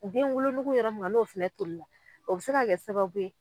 U den wolonugu yɔrɔ min kan n'o fɛnɛ tolila o bɛ se ka kɛ sababuye.